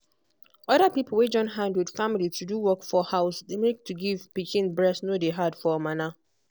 other pipo wey join hand with family to do work for house dey make to give pikin breast no dey hard for mana